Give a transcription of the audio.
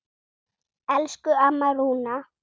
Elsku amma Rúna.